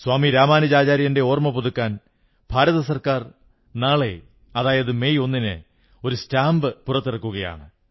സ്വാമി രാമാനുജാചാര്യന്റെ ഓർമ്മ പുതുക്കാൻ കേന്ദ്ര ഗവൺമെന്റ് നാളെ മെയ് 1 ന് ഒരു സ്റ്റാംപ് പ്രകാശനം ചെയ്യുകയാണ്